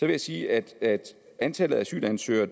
jeg sige at antallet af asylansøgere